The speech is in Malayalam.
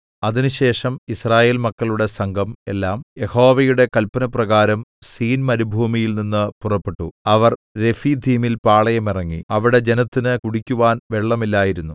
അതിനുശേഷം യിസ്രായേൽ മക്കളുടെ സംഘം എല്ലാം യഹോവയുടെ കല്പനപ്രകാരം സീൻമരുഭൂമിയിൽനിന്ന് പുറപ്പെട്ടു അവർ രെഫീദീമിൽ പാളയമിറങ്ങി അവിടെ ജനത്തിന് കുടിക്കുവാൻ വെള്ളമില്ലായിരുന്നു